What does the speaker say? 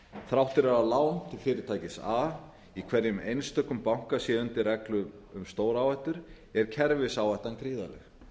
þrátt fyrir að lán til fyrirtækis a í hverjum einstökum banka sé undir reglu um stóráhættu er kerfisáhættan gríðarleg